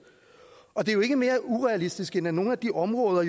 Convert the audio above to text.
og det er jo ikke mere urealistisk end at nogle af de områder